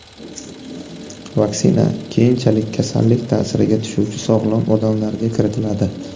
Vaksina keyinchalik kasallik ta’siriga tushuvchi sog‘lom odamlarga kiritiladi.